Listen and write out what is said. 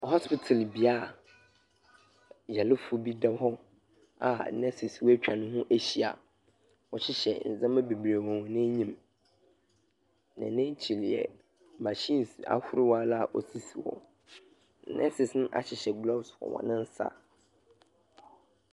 Hosptital bea, Yarefo bi da hɔ a nurses atwa ne ho ahyia, wɔhyehyɛ ndzɛmba beberee wɔ hɔn enyim. Na n'ekyir yɛ machinesahorow ara a osisi hɔ. Nurses no ahyehyɛ gloveɔ wɔ hɔn nsa.